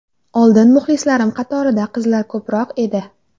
Oldin muxlislarim qatorida qizlar ko‘proq edi.